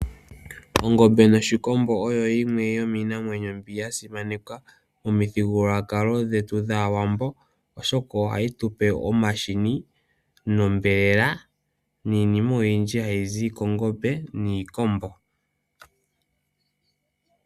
Ongombe noshikombo oyo yimwe yomiinamwenyo mbi yasimanekwa komithigululwakalo dhetu dhaawambo oshoka ohayi tupe omahini ,onyama niinima oyindji hayi zi kongombe niikombo